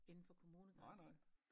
Inden for kommunegrænsen